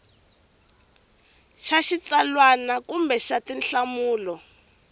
xa xitsalwana kumbe xa tinhlamulo